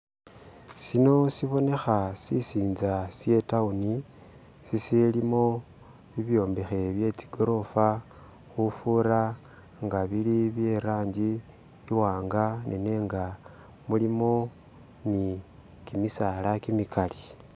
Sino sibonekha sisinza she town sisilimo bibyombekhe bye zigorofa khufura nga bili byelangi iwanga nenga mulimo ni gimisaala gimigali.